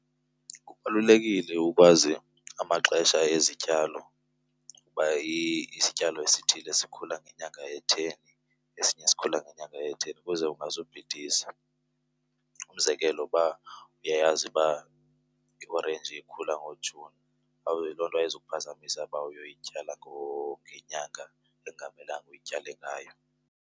Kubalulekile ukwazi amaxesha ezityalo ukuba isityalo esithile sikhula ngenyanga etheni esinye sikhula ngenyanga etheni ukuze ungazubhidisa. Umzekelo, uba uyayazi uba iorenji ikhula ngoJuni, loo nto ayizukuphazamisa uba uyoyityala ngenyanga ekungamelanga uyityale ngayo.